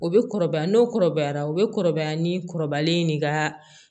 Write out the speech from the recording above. O bɛ kɔrɔbaya n'o kɔrɔbayara o bɛ kɔrɔbaya ni kɔrɔbalen ni ka